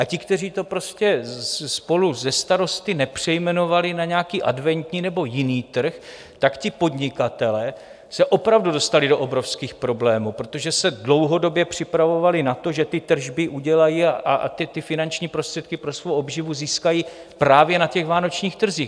A ti, kteří to prostě spolu se starosty nepřejmenovali na nějaký adventní nebo jiný trh, tak ti podnikatelé se opravdu dostali do obrovských problémů, protože se dlouhodobě připravovali na to, že ty tržby udělají, a teď finanční prostředky pro svou obživu získají právě na těch vánočních trzích.